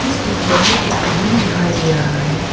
इस पिक्चर में एक रूम दिखाई दे रहा है।